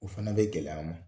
O fɛnɛ bɛ gɛlɛy'an ma